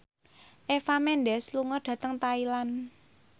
Eva Mendes lunga dhateng Thailand